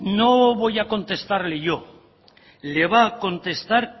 no voy a contestarle yo le va a contestar